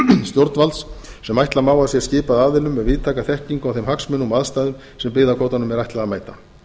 stjórnvalds sem ætla má að sé skipað aðilum með víðtæka þekkingu á þeim hagsmunum og aðstæðum sem byggðakvótanum er ætlað að mæta